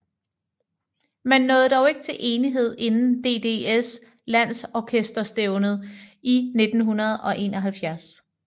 Man nåede dog ikke til enighed inden DDS landsorkesterstævnet i 1971